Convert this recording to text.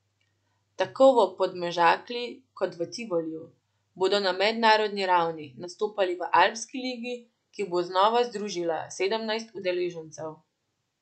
Tako v Podmežakli kot v Tivoliju bodo na mednarodni ravni nastopali v alpski ligi, ki bo znova združila sedemnajst udeležencev.